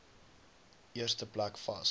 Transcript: eerste plek vas